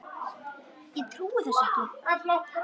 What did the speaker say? Ég trúi þessu ekki!